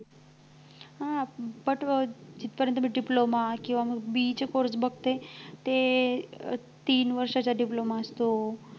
हं but जिथं पर्यंत मी diploma किंवा BE चे course बघते ते अं तीन वर्षाचा diploma असतो